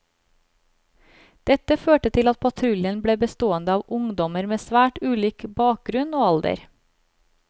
Dette førte til at patruljen ble bestående av ungdommer med svært ulik bakgrunn og alder.